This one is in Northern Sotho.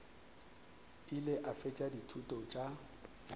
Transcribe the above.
ile a fetša dithuto tša